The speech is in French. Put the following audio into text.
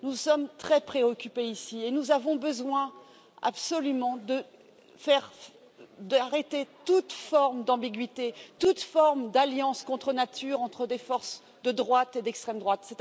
Nous sommes très préoccupés ici et nous avons absolument besoin d'arrêter toute forme d'ambiguïté, toute forme d'alliance contre nature entre des forces de droite et d'extrême droite.